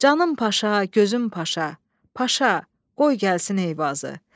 Canım Paşa, gözüm Paşa, Paşa, qoy gəlsin Eyvazı.